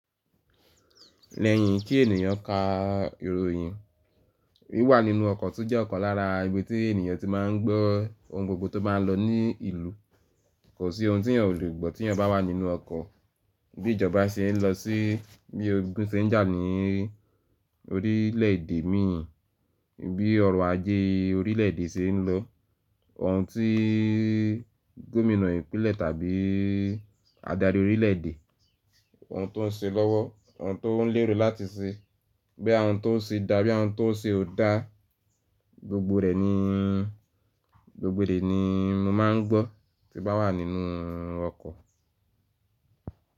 Lẹ́yìn kí ènìyàn ka ìròyìn, wí wà nínú ọkọ̀ tun jẹ́ ọ̀kan lára ibi tí ènìyàn ti máa ń gbọ́ ohun gbogbo tó bá lọ ní ìlú. Kò sí ohun tí ènìyàn ò lè gbọ́ tí ènìyàn bá wà nínú ọkọ̀. Bí ìjọba ṣe ń lọ sí, bí ogun ṣe ń jà ní orílẹ̀ èdè mi in, bí ọrọ̀ ajé orílẹ̀ èdè ṣe ń lọ, ohun tí gómìnà ìpínlẹ̀ tàbí adarí orílẹ̀ èdè, ohun tó ń ṣe lọ́wọ́, ohun tó ń lérò láti ṣe, bí ohun tó ń ṣe dá, bí ohun tó ń ṣe ò dá, gbogbo rẹ̀ ni, gbogbo rẹ̀ ni mo máa ń gbọ́ tí bá wà nínú ọkọ̀.